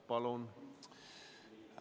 Palun!